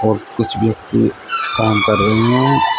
कुछ कुछ व्यक्ति काम कर रहे हैं।